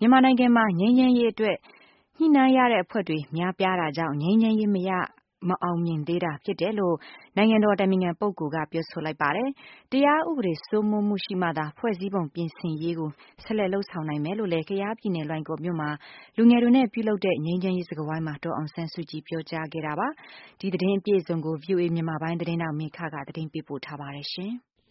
မြန်မာနိုင်ငံမှာ ငြိမ်းချမ်းရေးအတွက် ညှိနှိုင်းရတဲ့အဖွဲ့တွေ များပြားတာကြောင့် ငြိမ်းချမ်းရေး မအောင်မြင်သေးတာဖြစ်တယ်လို့ နိုင်ငံ တော်အတိုင်ပင်ခံ ပုဂ္ဂိုလ်က ပြောဆိုလိုက်ပါတယ်။ တရားဥပဒေစိုးမိုးမှုရှိမှသာ ဖွဲ့စည်းပုံပြင်ဆင်ရေးကိုဆက်လက်လုပ်ဆောင် နိုင်မယ်လို့လည်း ကယားပြည်နယ် လွိုင်ကော်မြို့မှာ လူငယ်တွေနဲ့ပြုလုပ်တဲ့ ငြိမ်းချမ်းရေးစကားဝိုင်းမှာ ဒေါ်အောင်ဆန်းစုကြည်က ပြောကြားခဲ့ပါတယ်။ ဒီသတင်းကိုမေခကပေးပို့ထားပါတယ်။ မြ